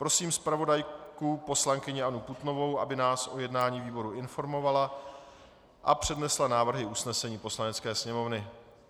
Prosím zpravodajku poslankyni Annu Putnovou, aby nás o jednání výboru informovala a přednesla návrhy usnesení Poslanecké sněmovny.